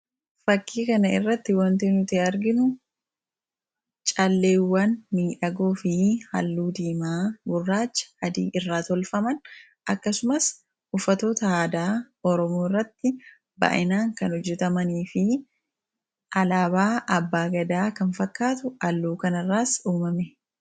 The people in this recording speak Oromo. fakkii kana irratti wantii nuti arginu caalleewwan miidhagoo fi halluu diimaa burraacha hadii irraa tolfaman akkasumaas ufatoota haadaa oromuu irratti baa'inaan kan hojjetamanii fi alaabaa abbaa gadaa kan fakkaatu alluu kanarraas uumame